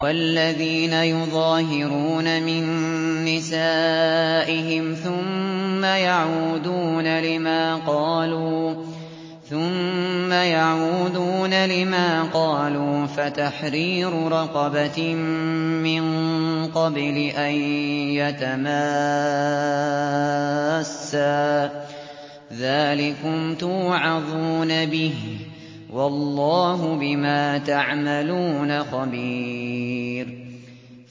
وَالَّذِينَ يُظَاهِرُونَ مِن نِّسَائِهِمْ ثُمَّ يَعُودُونَ لِمَا قَالُوا فَتَحْرِيرُ رَقَبَةٍ مِّن قَبْلِ أَن يَتَمَاسَّا ۚ ذَٰلِكُمْ تُوعَظُونَ بِهِ ۚ وَاللَّهُ بِمَا تَعْمَلُونَ خَبِيرٌ